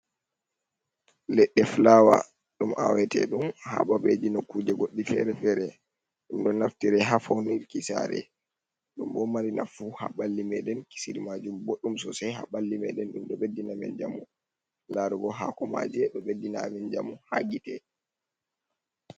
Leɗɗe flawa ɗum awate ɗum ha babeji nokkuje goɗɗi fere-fere, ɗum ɗo naftira ha faunirki saare, ɗum ɗo mari nafu ha ɓalli meɗen, kisiri majum boɗɗum sosei ha ɓalli meɗen ɗum ɗo ɓeddina men njamu, larugo haako maje ɗo ɓeddina men jamu ha gite.